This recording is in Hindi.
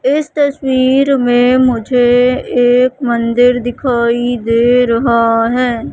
इस तस्वीर में मुझे एक मंदिर दिखाई दे रहा है।